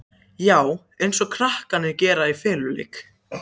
Já, eins og krakkarnir gera í feluleik.